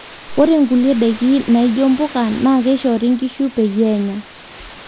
ore nkulie daiki naijo mbuka naa keishori nkishu peyie enya